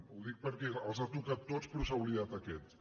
ho dic perquè els ha tocat tots però s’ha oblidat d’aquest